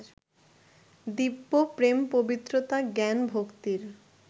দিব্য প্রেম-পবিত্রতা-জ্ঞান-ভক্তির